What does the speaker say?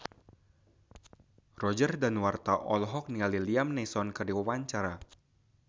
Roger Danuarta olohok ningali Liam Neeson keur diwawancara